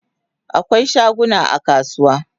Akwai shaguna a kasuwa